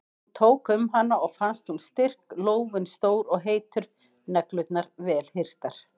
Hún tók um hana og fannst hún styrk, lófinn stór og heitur, neglurnar vel hirtar.